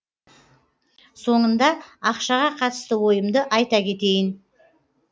соңында ақшаға қатысты ойымды айта кетейін